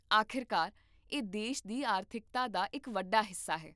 ਆਖਿਰਕਾਰ, ਇਹ ਦੇਸ਼ ਦੀ ਆਰਥਿਕਤਾ ਦਾ ਇੱਕ ਵੱਡਾ ਹਿੱਸਾ ਹੈ